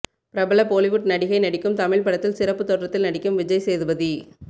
பிரபல பொலிவுட் நடிகை நடிக்கும் தமிழ் படத்தில் சிறப்பு தோற்றத்தில் நடிக்கும் விஜய் சேதுபதி